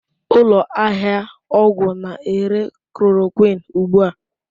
Ụlọ ahịa ọgwụ na-ere chloroquine ugbu a?